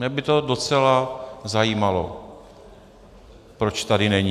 Mě by to docela zajímalo, proč tady není.